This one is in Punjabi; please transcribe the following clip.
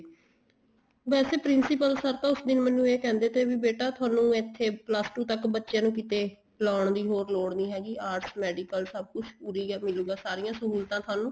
ਵੈਸੇ principle sir ਤਾਂ ਉਸ ਦਿਨ ਮੈਨੂੰ ਇਹ ਕਹਿੰਦੇ ਤੇ ਵੀ ਬੇਟਾ ਤੁਹਾਨੂੰ ਇੱਥੇ plus two ਤੱਕ ਬੱਚੇ ਨੂੰ ਕਿੱਥੇ ਲਾਉਣ ਦੀ ਲੋੜ ਨਹੀਂ ਹੈਗੀ arts medical ਸਭ ਕੁੱਛ ਉਰੇ ਹੀ ਮਿਲੂਗਾ ਸਾਰੀਆਂ ਸਹੂਲਤਾਂ ਤੁਹਾਨੂੰ